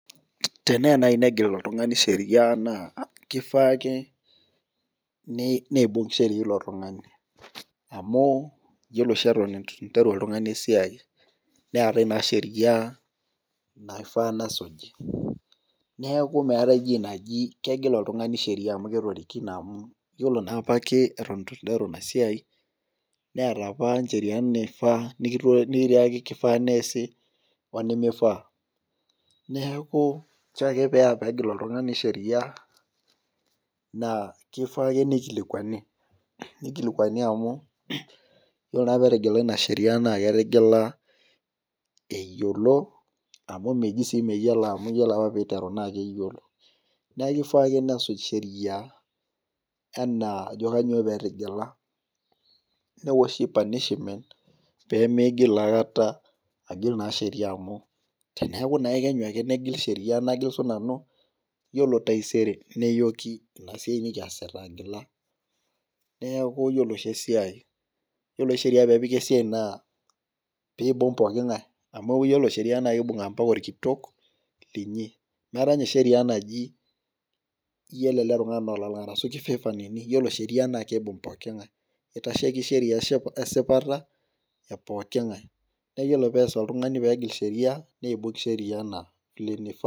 teneya naaji negil oltung'ani sheria naa kifaa ake neibung' sheria ilo tung'ani , amu iyiolo oshi eton etu interu oltung'ani esiai neetae naa sheria naifaa nesuj ,neeku meeetae enaji kegil oltung'ani sheria amu ketorikine amu iyiolo naa apake etu interu enasiai neeta apa icheriani naifaa neesi wenimifaa neeku inchoo ake pee engil oltung'ani sheria , naa kifaa ake nikilikuani amu iyiolo naa pee etigila eyiolo amu meji sii meyiolo amu ore apa pee iteru naa keyiolo neeku kifaa ake pee esuj sheria enaa ajo kainyioo pee etigila , newoshi panishimen pee migil aikata agil sheria amu teneeku kekenyu ake nagil siinanu iyiolo taisere neyoki inasiai nikiata agila, neeku iyiolo sheria pee epiki esiai naa pee eibung' pooki ng'ae amu iyiolo sheria naa kibung' ompaka olkitok linyi meeta ninye sheria entoki naaaji iyiolo ele tung'ani naa olalang' kibung' poking'ae ,itasheki sheria esipata epooki ng'ae iyiolo pee ees oltung'ani pee engil sheria nibung' sheria .